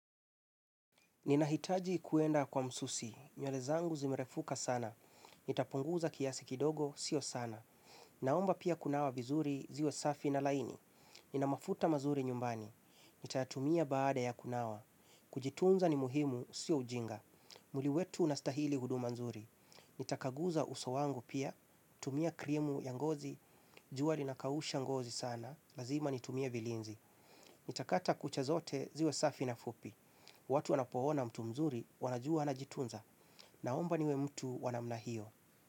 Ninahitaji kuenda kwa msusi, nywele zangu zimerefuka sana, nitapunguza kiasi kidogo, sio sana, naomba pia kunawa vizuri ziwe safi na laini, nina mafuta mazuri nyumbani, nitayatumia baada ya kunawa, kujitunza ni muhimu, sio ujinga, mwili wetu unastahili huduma nzuri, nitakaguza uso wangu pia, tumia krimu yangozi, jua lina kausha ngozi sana, lazima nitumie vilinzi, nitakata kucha zote ziwe safi na fupi, watu wanapo ona mtu mzuri wanajua anajitunza na omba niwe mtu wanamna hiyo.